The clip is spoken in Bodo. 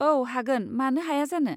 औ, हागोन, मानो हाया जानो।